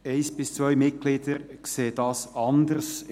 Ein bis zwei Mitglieder sehen dies anders.